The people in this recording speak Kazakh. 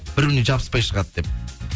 бір біріне жабыспай шығады деп